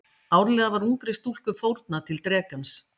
Árlega var ungri stúlku fórnað til drekans.